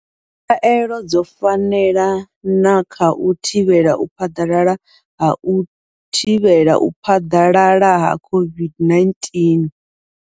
Khaelo dzo fanela na kha u thivhela u phaḓalala ha u thivhela u phaḓalala ha COVID-19.